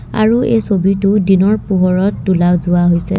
আৰু এই ছবিতো দিনৰ পোহৰত তোলা যোৱা হৈছে।